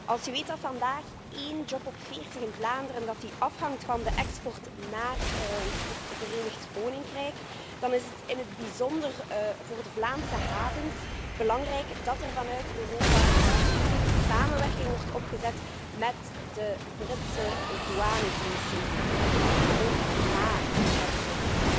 Als je weet dat momenteel één op de veertig banen in Vlaanderen afhangt van de export naar het Verenigd Koninkrijk, dan is het, in het bijzonder voor de Vlaamse havens, belangrijk dat er vanuit Europa een goede samenwerking wordt opgezet met de Britse douanediensten, en zeker ook na de brexit.